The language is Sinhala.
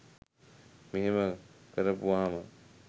මෙහෙම කරපුවහාම